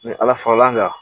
Ni ala fara l'an kan